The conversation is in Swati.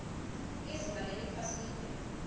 lizinga leliphasi liphepha